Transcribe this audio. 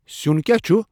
سِیون کیا چُھ ؟